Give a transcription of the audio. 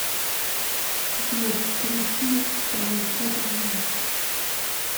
сбер включи спайдер лок